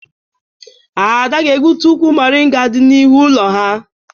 Ada ga-egbutu ukwu moringa dị n'ihu ụlọ ha.